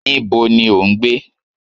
Níbo ni o ń gbé?